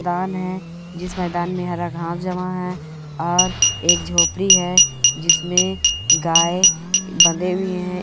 मैदान है जिस मैदान में हरा घास जमा है और एक झोपड़ी है जिसमें गाय बंधी हुई है।